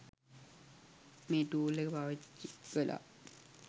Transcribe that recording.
මේ ටූල් එක පාවිච්චි කළා